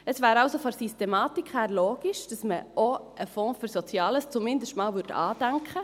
Es wäre also von der Systematik her logisch, dass man auch einen Fonds für Soziales zumindest einmal andenken würde.